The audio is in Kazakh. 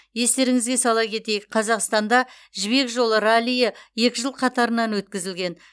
естеріңізге сала кетейік қазақстанда жібек жолы раллиі екі жыл қатарынан өткізілген